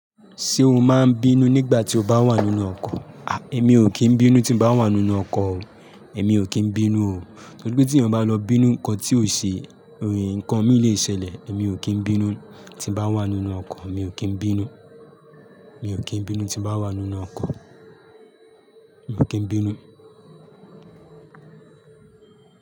Ṣé o máa ń bínú nígbà tí o bá wà nínú ọkọ̀? A! Èmi ò kí ń bínú tí bá wà nínú ọkọ̀ o. Èmi ò kí ń bínú o. Nítorí pé tí èèyàn bá lọ bínú nǹkan tí ò ṣe, ẹ̀ ǹkan mí lè ṣẹlẹ̀. Èmi ò kí ń bínú tí bá wà nínú ọkọ̀. Èmi ò kí ń bínú. Èmi ò kí ń bínú tí bá wà nínú ọkọ̀. Mi ò kí ń bínú.